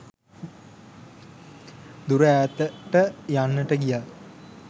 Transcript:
දුර ඈතට යන්නට ගියා.